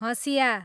हसियाँ